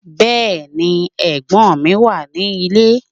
Bẹ́ẹ̀ni, ẹ̀gbọ́n mi wà ní ilé